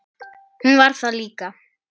Hún var það líka.